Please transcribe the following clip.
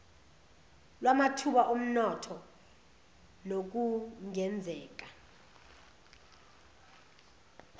lwamathuba omnotho nokungenzeka